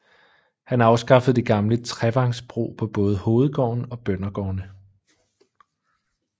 Han afskaffede det gamle trevangsbrug på både hovedgården og bøndergårdene